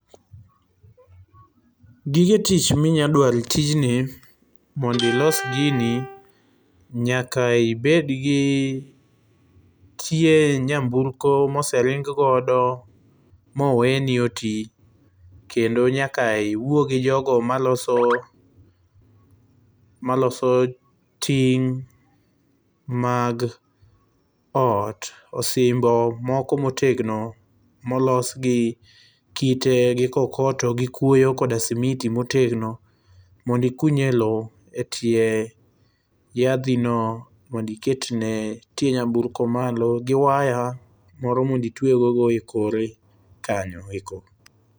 Gige tich minya dwaro e tijni mondo ilos gini nyaka ibedgi tie nyamburko ma osering godo ma owe ni otii kendo nyaka iwuo gi jogo maloso ting' mag ot, osimbo moko motegno molos gi kite ,gi kokoto ,gi kuoyo koda simiti motegno mondo ikuny e loo e tie yadhi no mondo iketne tie nyamburko malo gi waya moro mondo itweyego e kore kanyo eko